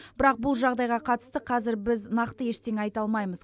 бірақ бұл жағдайға қатысты қазір біз нақты ештеңе айта алмаймыз